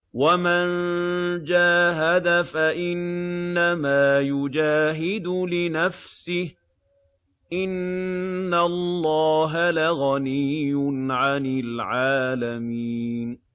وَمَن جَاهَدَ فَإِنَّمَا يُجَاهِدُ لِنَفْسِهِ ۚ إِنَّ اللَّهَ لَغَنِيٌّ عَنِ الْعَالَمِينَ